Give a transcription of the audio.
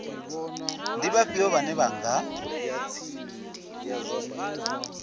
ndi vhafhio vhane vha nga